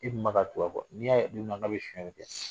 I dun bɛ ka tugu a kɔ n'i y'a ye don min k'a ye sonyali kɛ